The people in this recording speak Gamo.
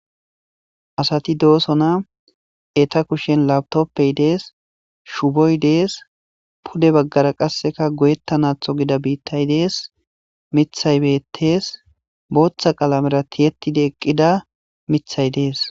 asati doosona eta kushen labtoppey dees shuboy dees pude baggara qasseka goyetta naatho gida biittay dees mithay bettees booththa qalamera tiyetidi eqqida mithay dees